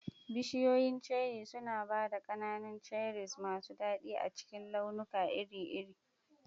Bishiyoyin Cherry suna ba da ƙananan cherries masu daɗi a cikin launuka iri-iri.